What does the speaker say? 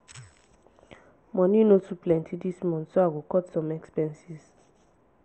money no too plenty this month so i go cut some expenses.